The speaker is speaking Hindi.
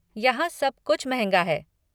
यहाँ सब कुछ महंगा है।